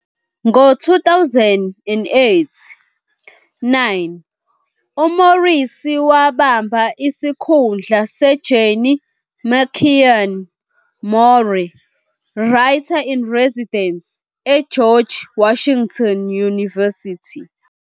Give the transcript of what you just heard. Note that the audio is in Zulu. Ngo-2008-9 uMorrissy wabamba isikhundla seJenny McKean Moore Writer-in-Residence eGeorge Washington University.